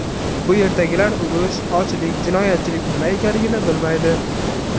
Bu yerdagilar urush, ochlik, jinoyatchilik nima ekanligini bilmaydi.